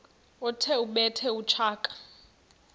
othi ubethe utshaka